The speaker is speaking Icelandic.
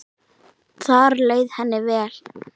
Þar leið henni vel.